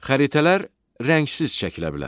Xəritələr rəngsiz çəkilə bilər.